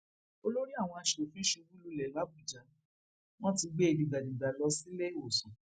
olórí àwọn asòfin ṣubú lulẹ làbójà wọn ti gbé e dìgbàdigba lọ síléèwòsàn